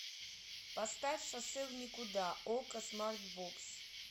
поставь шоссе в никуда окко смартбокс